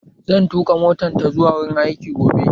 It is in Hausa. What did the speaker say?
Zan tuƙa mota ta zuwa wurin aiki gobe